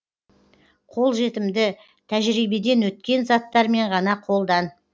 қолжетімді тәжірибеден өткен заттармен ғана қолдан